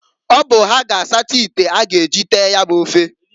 Ọ bụ ha ga asata ite a ga eji tee ya bu ofe.